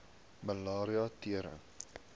malaria tering